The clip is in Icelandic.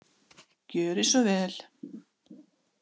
Gjörið svo vel!